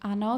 Ano.